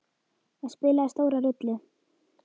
Það spilaði stóra rullu.